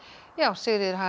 Sigríður